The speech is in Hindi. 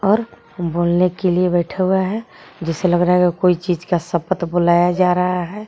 और बोलने के लिए बैठा हुआ है जिससे लग रहा है कोई चीज का शप्त बुलाया जा रहा है.